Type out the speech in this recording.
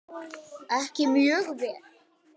Ekki mjög vel.